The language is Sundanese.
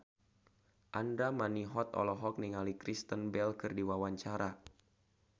Andra Manihot olohok ningali Kristen Bell keur diwawancara